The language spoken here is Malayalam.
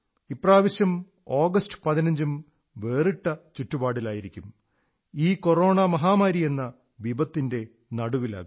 ഇപ്രാവശ്യം ആഗസ്റ്റ് 15 ഉം വേറിട്ട ചുറ്റുപാടിലായിരിക്കും ഈ കൊറോണ മഹാമാരിയെന്ന വിപത്തിന്റെ നടുവിലാകും